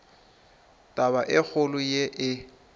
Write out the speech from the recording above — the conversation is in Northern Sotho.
taba e kgolo ye e